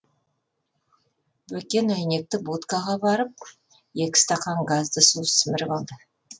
бөкен әйнекті будкаға барып екі стакан газды су сіміріп алды